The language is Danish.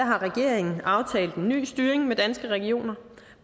har regeringen aftalt en ny styring med danske regioner